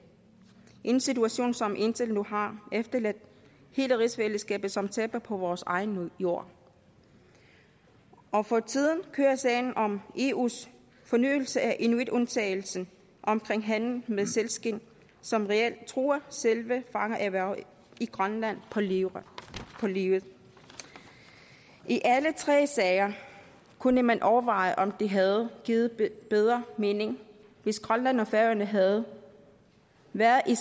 en situation som indtil nu har efterladt hele rigsfællesskabet som taber på vores egen jord og for tiden kører sagen om eus fornyelse af inuitundtagelsen omkring handel med sælskind som reelt truer selve fangererhvervet i grønland på livet livet i alle tre sager kunne man overveje om det havde givet bedre mening hvis grønland og færøerne havde været i